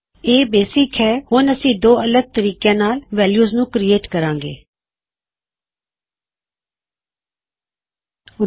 ਇਹ ਹੈ basic arrays ਅਤੇ ਕਿਵੇਂ ਅਸੀਂ ਵੈਲਯੂ ਨੂੰ ਦੋ ਅਲਗ ਤਰੀਕਿਆਂ ਵਿੱਚ ਬਣਾਇਆ ਅਤੇ ਦੱਸਿਆ ਕੀ ਉਸ ਵਿੱਚ ਵੈਲਯੂ ਨੂੰ ਕਿਵੇਂ ਪੁਕਾਰਨਾ ਹੈ